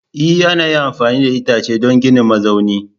E ana iya amfani da itace don ginin mazaunin